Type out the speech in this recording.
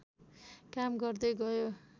काम गर्दै गयो